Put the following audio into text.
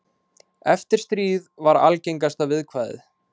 Eftir stríð var algengasta viðkvæðið.